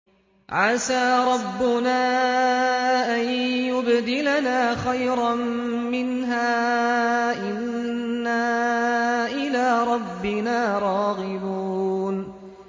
عَسَىٰ رَبُّنَا أَن يُبْدِلَنَا خَيْرًا مِّنْهَا إِنَّا إِلَىٰ رَبِّنَا رَاغِبُونَ